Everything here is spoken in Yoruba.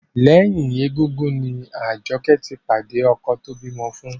Lẹ́yìn égúngún ni Àjọkẹ́ ti pàdé ọkọ tó bímọ fún